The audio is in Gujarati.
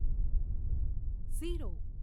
ઝીરો